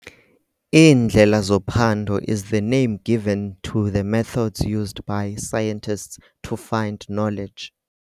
Iindlela zophando is the name given to the methods used by scientists to find knowledge.